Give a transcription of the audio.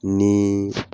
Ni